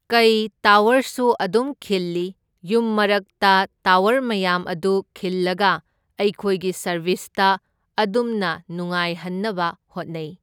ꯀꯩ ꯇꯥꯋꯔꯁꯨ ꯑꯗꯨꯝ ꯈꯤꯜꯂꯤ, ꯌꯨꯝ ꯃꯔꯛꯇ ꯇꯥꯋꯔ ꯃꯌꯥꯝ ꯑꯗꯨ ꯈꯤꯜꯂꯒ ꯑꯩꯈꯣꯏꯒꯤ ꯁꯥꯔꯕꯤꯁꯇ ꯑꯗꯨꯝꯅ ꯅꯨꯉꯥꯏꯍꯟꯅꯕ ꯍꯣꯠꯅꯩ꯫